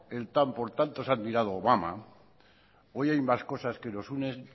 el tan por tantos admirado obama hoy hay más cosas que nos unen